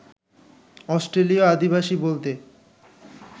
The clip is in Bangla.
অস্ট্রেলীয় আদিবাসী বলতে